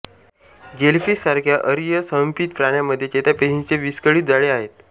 jellyfish सारख्या अरीय सममित प्राण्यामध्ये चेतापेशींचे विस्कळित जाळे आहे